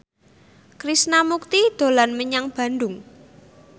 Krishna Mukti dolan menyang Bandung